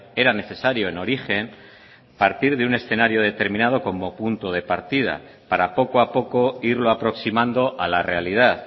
era necesario en origen partir de un escenario determinado como punto de partida para poco a poco irlo aproximando a la realidad